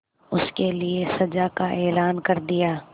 उसके लिए सजा का ऐलान कर दिया